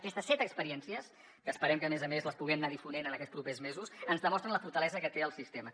aquestes set experiències que esperem que a més a més les puguem anar difonent en aquests propers mesos ens demostren la fortalesa que té el sistema